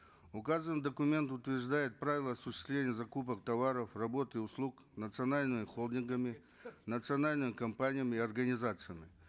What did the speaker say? указанный документ утверждает правила осуществления закупок товаров работ и услуг национальными холдингами национальными компаниями и организациями